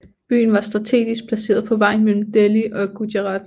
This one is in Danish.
Byen var strategisk placeret på vejen mellem Delhi og Gujarat